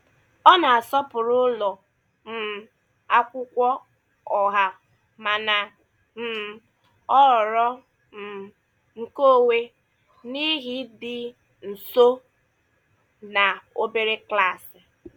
Ọ na-asọpụrụ ụlọ um akwụkwọ ọha mana um ọ họọrọ um nkeonwe n'ihi ịdị nso na obere klaasị.